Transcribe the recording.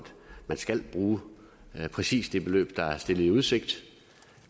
man skal bruge præcis det beløb der er stillet i udsigt